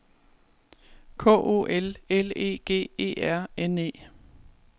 K O L L E G E R N E